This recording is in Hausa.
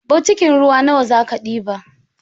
Botikin ruwa nawa zaka ɗiba?